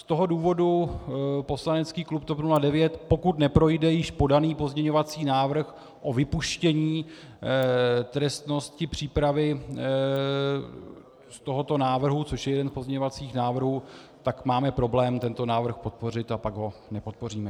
Z toho důvodu poslanecký klub TOP 09, pokud neprojde již podaný pozměňovací návrh o vypuštění trestnosti přípravy z tohoto návrhu, což je jeden z pozměňovacích návrhů, tak máme problém tento návrh podpořit a pak ho nepodpoříme.